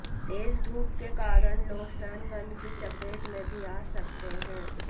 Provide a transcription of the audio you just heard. तेज धूप के कारण लोग सन बर्न की चपेट में भी आ सकते हैं